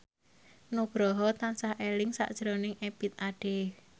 Nugroho tansah eling sakjroning Ebith Ade